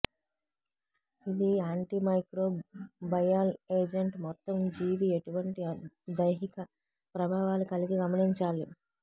ఇది antimicrobial agent మొత్తం జీవి ఎటువంటి దైహిక ప్రభావాలు కలిగి గమనించాలి